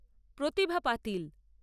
প্রতিভা পাতিল